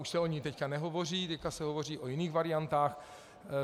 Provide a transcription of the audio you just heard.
Už se o ní teď nehovoří, teď se hovoří o jiných variantách.